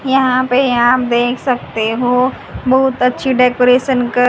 यहां पे आप देख सकते हो बहुत अच्छी डेकोरेशन कर--